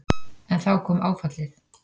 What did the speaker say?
En þá kom áfallið.